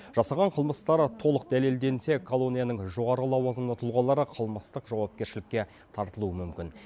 жасаған қылмыстары толық дәлелденсе колонияның жоғары лауазымды тұлғалары қылмыстық жауапкершілікке тартылуы мүмкін